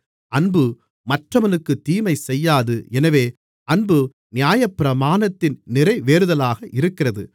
அன்பு மற்றவனுக்கு தீமை செய்யாது எனவே அன்பு நியாயப்பிரமாணத்தின் நிறைவேறுதலாக இருக்கிறது